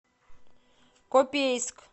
копейск